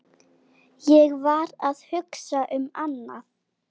Ég var að hugsa um annað.